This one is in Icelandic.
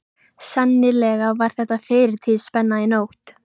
Sennilega var þetta fyrirtíðaspenna í nótt.